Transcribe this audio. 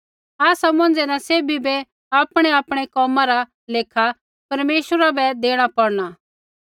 आसा मौंझ़ै न सैभी बै आपणैआपणै कोमा रा लेखा परमेश्वरा बै देणा पौड़ना